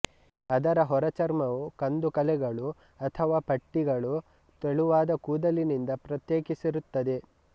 ಅದರ ಹೊರ ಚರ್ಮವು ಕಂದು ಕಲೆಗಳು ಅಥವಾ ಪಟ್ಟೆಗಳು ತೆಳುವಾದ ಕೂದಲಿನಿಂದ ಪ್ರತ್ಯೇಕಿಸಿರುತ್ತದೆ